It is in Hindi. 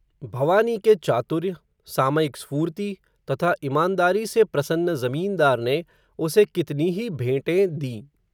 भवानी के चातुर्य, सामयिक स्फूर्ति, तथा इमानदारी से प्रसन्न ज़मींदार ने, उसे कितनी ही भेंटें दीं